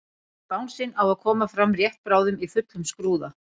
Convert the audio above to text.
En bangsinn á að koma fram rétt bráðum í fullum skrúða.